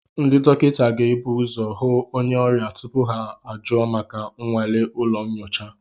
Ndị dọkịta ga-ebu ụzọ hụ onye ọrịa tupu ha ajụọ maka nnwale ụlọ nyocha